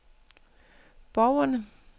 borgerne